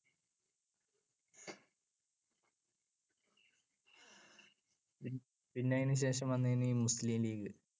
പിന്നെ അതിനുശേഷം വന്നതാണ് ഈ മുസ്ലീം ലീഗ്.